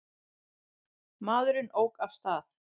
Maðurinn ók af stað.